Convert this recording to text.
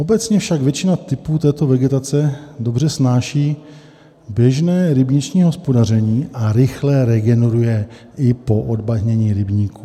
Obecně však většina typů této vegetace dobře snáší běžné rybniční hospodaření a rychle regeneruje i po odbahnění rybníků.